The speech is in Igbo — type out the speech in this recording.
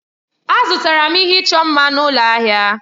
Azụtara m ihe ịchọ mma m na ụlọ ahịa.